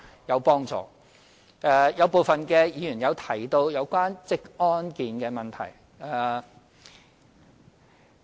有部分議員提及職安健的問題。